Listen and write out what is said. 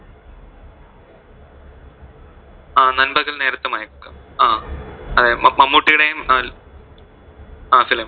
അഹ് നൻപകൽ നേരത്തു മയക്കം അഹ് മമ്മുട്ടിടേം ആ film